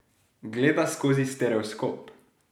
Gleda skozi stereoskop.